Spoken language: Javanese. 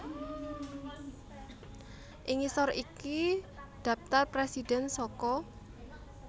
Ing ngisor iki dhaptar presidhèn saka